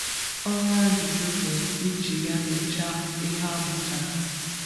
Ọrụ ajụjụ bụ iji ya nyochaa ihe a mụtara.